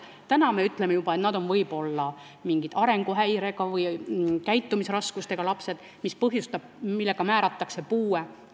Täna me ütleme, et nad on võib-olla arenguhäirega või käitumisraskusega lapsed, mille tõttu neile määratakse puue.